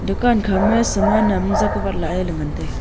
dukan kha ma saman am jak watla le ngan taiga.